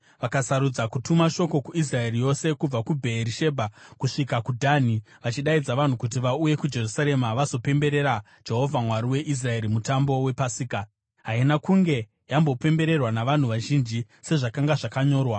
Vakasarudza kutuma shoko kuIsraeri yose kubva Bheerishebha kusvika kuDhani, vachidaidza vanhu kuti vauye kuJerusarema vazopemberera Jehovha Mwari weIsraeri mutambo wePasika. Haina kunge yambopembererwa navanhu vazhinji sezvakanga zvakanyorwa.